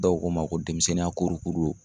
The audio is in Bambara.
Dɔw ko ma ko denmisɛnninya kurukuru don.